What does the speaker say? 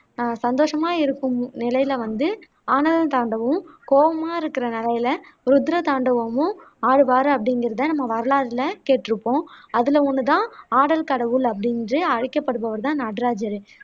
ஆஹ் சந்தோசமா இருக்கும் நிலையில வந்து ஆனந்த தாண்டவமும், கோவமா இருக்குற நிலையில ருத்ர தாண்டவமும் ஆடுவாரு அப்படிங்குறது தான் நம்ம வரலாறுல கேட்டுருப்போம் அதுல ஒண்ணு தான் ஆடல் கடவுள் அப்படின்னு அழைக்கப்படுபவர் தான் நடராஜரு